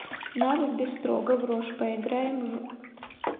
навык бистро гаврош поиграем в